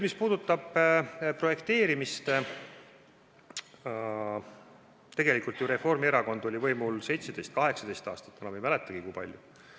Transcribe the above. Mis puudutab projekteerimist, siis Reformierakond oli võimul 17 või 18 aastat – enam ei mäletagi, kui kaua.